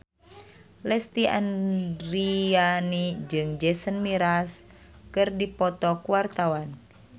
Lesti Andryani jeung Jason Mraz keur dipoto ku wartawan